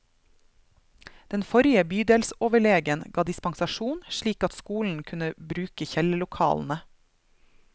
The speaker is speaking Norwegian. Den forrige bydelsoverlegen ga dispensasjon, slik at skolen kunne bruke kjellerlokalene.